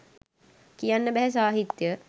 කියන්න බැහැ සාහිත්‍ය